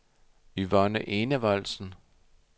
Yvonne Enevoldsen